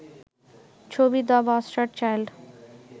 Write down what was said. ছবি 'the bastard child'